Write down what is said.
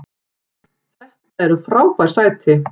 Þetta eru frábær sæti!